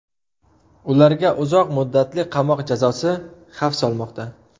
Ularga uzoq muddatli qamoq jazosi xavf solmoqda.